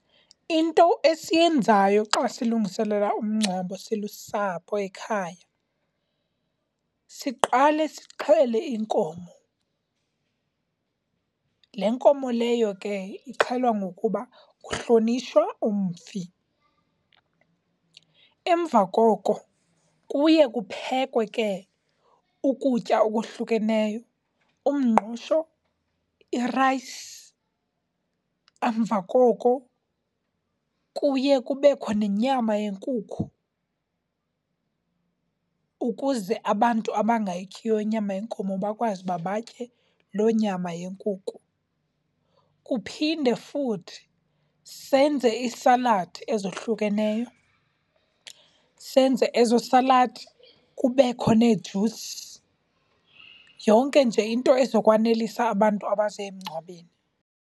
Into esiyenzayo xa silungiselela umngcwabo silusapho ekhaya siqale sixhele inkomo. Le nkomo leyo ke ixhelwa ngokuba kuhlonitshwa umfi. Emva koko kuye kuphekwe ke ukutya okuhlukeneyo, umngqusho, irayisi. Emva koko kuye kubekho nenyama yenkukhu ukuze abantu bangayityiyo inyama yenkomo bakwazi ukuba batye loo nyama yenkuku. Kuphinde futhi senze iisaladi ezohlukeneyo. Senze ezo saladi kubekho neee-juice, yonke nje into ezokwanelisa abantu abaze emngcwabeni.